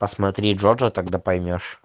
посмотри джокер тогда поймёшь